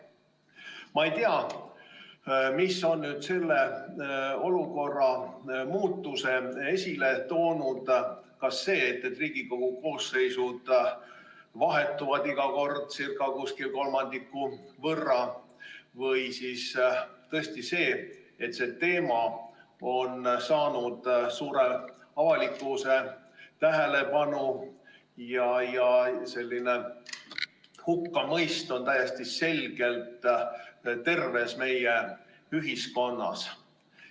Ma ei tea, mis on selle olukorra muutuse tekitanud – kas see, et Riigikogu koosseisud vahetuvad iga kord circa kolmandiku võrra, või siis tõesti see, et see teema on saanud avalikkuse suure tähelepanu osaliseks ja hukkamõist on täiesti selgelt terves meie ühiskonnas.